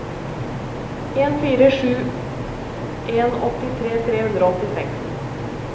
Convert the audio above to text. en fire sju en åttitre tre hundre og åttiseks